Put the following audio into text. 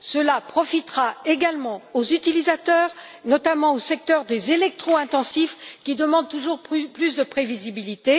Cela profitera également aux utilisateurs, notamment aux secteurs électro intensifs, qui demandent toujours plus de prévisibilité.